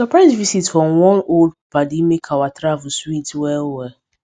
surprise visit from one old paddy make our travel sweet well well